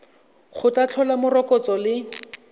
go tla tlhola morokotso le